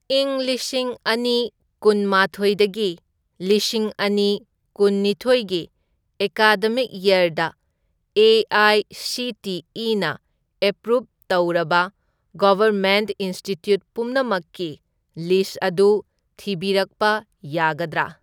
ꯢꯪ ꯂꯤꯁꯤꯡ ꯑꯅꯤ ꯀꯨꯟꯃꯥꯊꯣꯢꯗꯒꯤ ꯂꯤꯁꯤꯡ ꯑꯅꯤ ꯀꯨꯟꯅꯤꯊꯣꯢꯒꯤ ꯑꯦꯀꯥꯗꯃꯤꯛ ꯌꯔꯗ ꯑꯦ.ꯑꯥꯏ.ꯁꯤ.ꯇꯤ.ꯏ.ꯅ ꯑꯦꯄ꯭ꯔꯨꯞ ꯇꯧꯔꯕ ꯒꯚꯔꯃꯦꯟꯠ ꯏꯟꯁꯇꯤꯇ꯭ꯌꯨꯠ ꯄꯨꯝꯅꯃꯛꯀꯤ ꯂꯤꯁ꯭ꯠ ꯑꯗꯨ ꯊꯤꯕꯤꯔꯛꯄ ꯌꯥꯒꯗ꯭ꯔꯥ?